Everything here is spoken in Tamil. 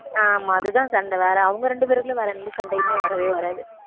ஆமா அதுதான் சண்டை வேற அவங்க ரெண்டு பேருக்குள்ள வேற எந்த சண்டையுமே வரவே வராது